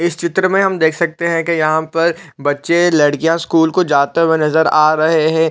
इस चित्र में हम देख सकते है कि यहाँ पर बच्चे लड़कियाँ स्कूल को जाते हुए नज़र आ रहे हैं ।